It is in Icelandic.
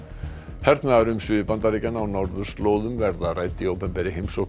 hernaðarumsvif Bandaríkjanna á norðurslóðum verða rædd í opinberri heimsókn